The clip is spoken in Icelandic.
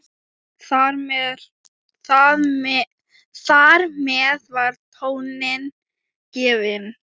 Þar með var tónninn gefinn.